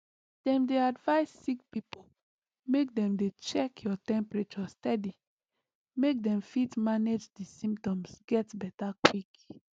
dem dey advise sick pipo make dem dey check your temperature steady make dem fit manage di symptoms get beta quick